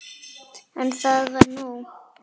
En það var nóg.